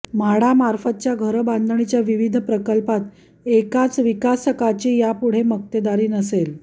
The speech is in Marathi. म्हाडा मार्फतच्या घरबांधणीच्या विविध प्रकल्पात एकाच विकासकाची यापुढे मक्तेदारी नसेल